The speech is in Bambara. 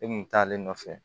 E kun taalen nɔfɛ